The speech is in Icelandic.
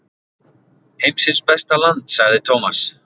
Heimsins besta land sagði Thomas.